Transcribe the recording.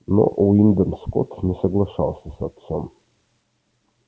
но уидон скотт не соглашался с отцом